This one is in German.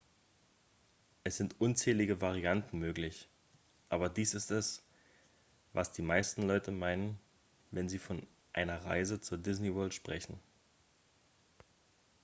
"es sind unzählige varianten möglich aber dies ist es was die meisten leute meinen wenn sie von einer "reise zur disney world" sprechen.